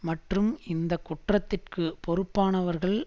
மற்றும் இந்த குற்றத்திற்கு பொறுப்பானவர்கள்